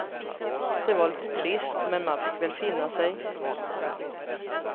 Det var lite trist, men man fick väl finna sig.